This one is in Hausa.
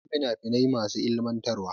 Akwai fina finai masu ilimantarwa.